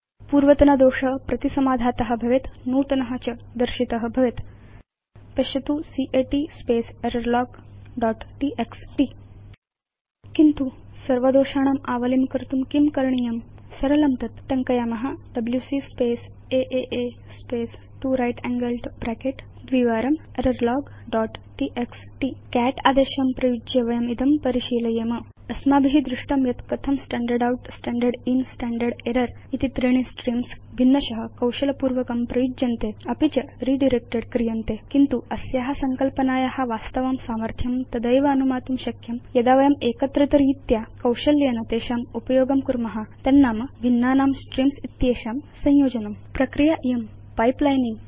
पूर्वतन दोष प्रतिसमाधात भवेत् नूतन च दर्शित भवेत् पश्यतु cat space error log dot TXT किन्तु सर्वदोषाणाम् आवलिं कर्तुं किं करणीयम् सरलं तत् टङ्कयाम डब्ल्यूसी स्पेस् आ space 2 right angled bracket twice error log dot TXT cat आदेशम् उपयुज्य वयम् इदं परिशीलयेम अस्माभि दृष्टं यत् कथं स्टैण्डर्ड् outस्टैण्डर्ड् inस्टैण्डर्ड् एरर् इति त्रीणि स्ट्रीम्स् भिन्नश कौशलपूर्वकं प्रयुज्यन्ते अपि च रिडायरेक्टेड् क्रियन्ते किन्तु अस्या संकल्पनाया वास्तवं सामर्थ्यं तदैव अनुमातुं शक्यं यदा वयं एकत्रितरीत्या कौशल्येन तेषाम् उपयोगं कुर्म तन्नाम भिन्नानां स्ट्रीम्स् इत्येषां संयोजनम् एषा प्रक्रिया पाइपलाइनिंग